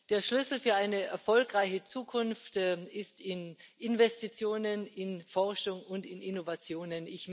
Der Schlüssel für eine erfolgreiche Zukunft sind Investitionen in Forschung und Innovationen.